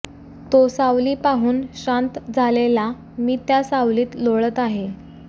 तो सावली पाहून श्रांत झालेला मी त्या सावलीत लोळत आहे